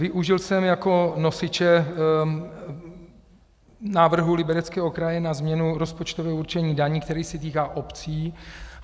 Využil jsem jako nosiče návrh Libereckého kraje na změnu rozpočtového určení daní, který se týká obcí.